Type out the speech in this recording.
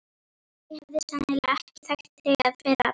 Ég hefði sennilega ekki þekkt þig að fyrra bragði.